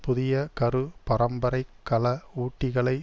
புதிய கரு பரம்பரை கல ஊட்டிகளை